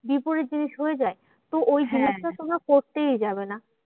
বিপরীত জিনিস হয়ে যায়। তো ওই জিনিসটা তোমরা করতেই যাবে না।